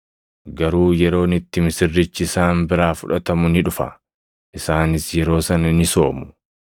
Garuu yeroon itti misirrichi isaan biraa fudhatamu ni dhufa; isaanis yeroo sana ni soomu.”